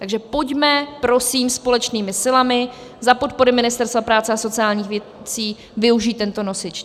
Takže pojďme prosím společnými silami, za podpory Ministerstva práce a sociálních věcí, využít tento nosič.